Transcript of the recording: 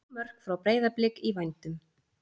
Þrjú mörk frá Breiðablik í vændum?